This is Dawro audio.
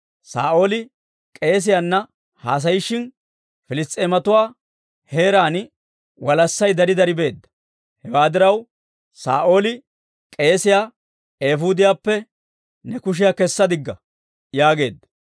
Saa'ooli k'eesiyaana haasayishin, Piliss's'eematuwaa heeraan walassay dari dari beedda. Hewaa diraw, Saa'ooli k'eesiyaa, «Eefuudiyaappe ne kushiyaa kessa digga» yaageedda.